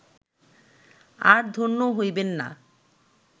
আর ধন্য হইবেন না